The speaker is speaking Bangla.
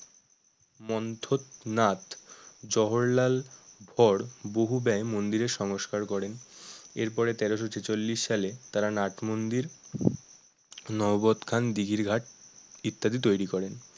মন্থত নাথ জহরলাল পর বহু ব্যয় মন্দির এর সংস্কার করেন এর পরে তেরোশো ছেচল্লিশ সালে তারা নাটমন্দির নহবৎখান দিঘির ঘাট ইত্যাদি তৈরি করেন